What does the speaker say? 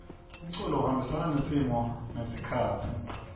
umculo uhambisana nesimo nesikhatsi